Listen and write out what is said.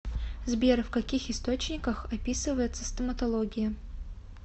сбер в каких источниках описывается стоматология